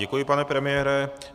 Děkuji, pane premiére.